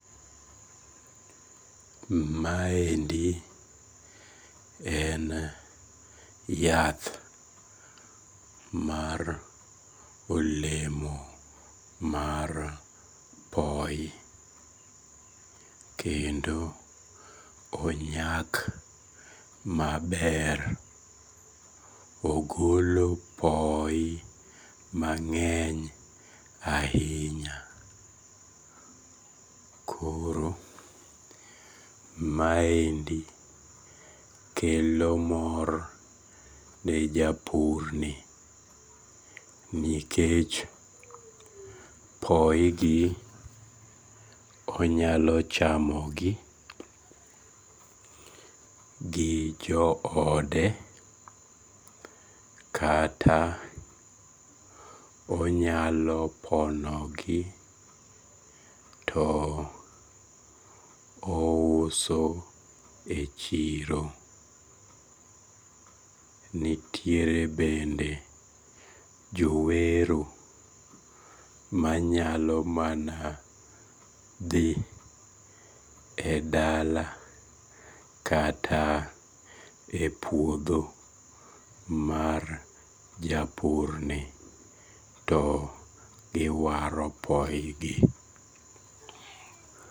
Maendi en yath mar olemo mar poyi kendo onyak maber ogolo poyi mang'eny ahinya koro maendi kelo mor ne japurni nikech poyigi onyalo chamogi gi joode kata onyalo ponogi to ouso e chiro, kata nitiere bende jowero manyalo mana dhi e dala kata e puodho mar japurni to iwaro poyigi